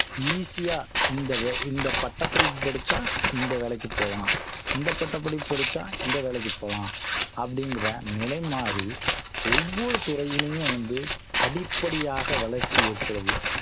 easy ஆ இந்த வே~ இந்த பட்டப்படிப்பு படிச்சா இந்த வேலைக்கு போகலாம் இந்த பட்டப்படிப்பு படிச்சா இந்த வேலைக்கு போகலாம் அப்படிங்கற நிலை மாறி ஒவ்வொரு துறையிலையும் வந்து படிப்படியாக வளர்ச்சி ஏற்படுது